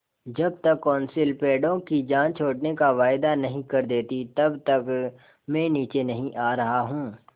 जब तक कौंसिल पेड़ों की जान छोड़ने का वायदा नहीं कर देती तब तक मैं नीचे नहीं आ रहा हूँ